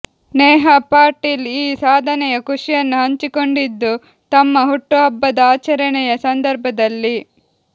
ನೇಹಾ ಪಾಟೀಲ್ ಈ ಸಾಧನೆಯ ಖುಷಿಯನ್ನು ಹಂಚಿಕೊಂಡಿದ್ದು ತಮ್ಮ ಹುಟ್ಟುಹಬ್ಬದ ಆಚರಣೆಯ ಸಂದರ್ಭದಲ್ಲಿ